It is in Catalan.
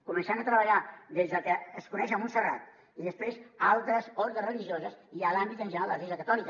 començant a treballar des del que es coneix a montserrat i després a altres ordes religioses i a l’àmbit en general de l’església catòlica